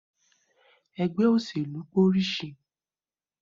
Ẹgbẹ́ òṣèlú pé orísìí